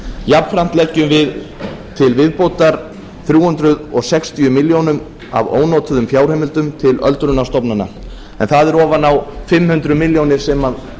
jafnframt leggjum við til viðbótar þrjú hundruð sextíu milljónir af ónotuðum fjárheimildum til öldrunarstofnana en það er ofan á fimm hundruð milljóna sem